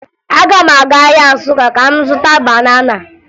Aga m aga ahịa Nsụka ka m zụta banana